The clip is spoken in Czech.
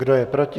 Kdo je proti?